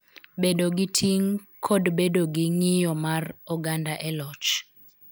Bedo gi ting�, kod bedo gi ng�iyo mar oganda e loch.